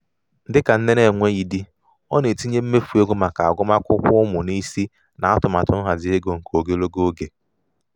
dịka nne na-enweghi di ọ na-etinye mmefu ego maka agụmakwụkwọ ụmụ n'isi n'atụmatụ nhazi ego nke ogologo oge ya.